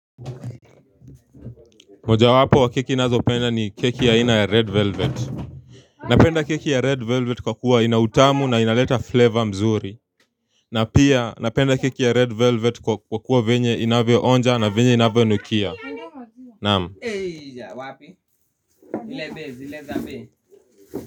Mojawapo wa keki ninazo penda ni keki ya aina ya red velvet napenda keki ya red velvet kwa kuwa ina utamu na inaleta flavor mzuri na pia napenda keki ya red velvet kwa kuwa venye inavyo onja na venye inavyo nukia naam.